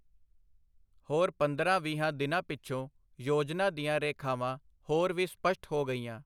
ਹੋਰ ਪੰਦਰਾਂ-ਵੀਹਾਂ ਦਿਨਾਂ ਪਿਛੋਂ ਯੋਜਨਾ ਦੀਆਂ ਰੇਖਾਵਾਂ ਹੋਰ ਵੀ ਸਪਸ਼ਟ ਹੋ ਗਈਆਂ.